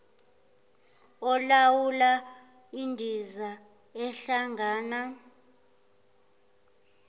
olawula indiza ehlangana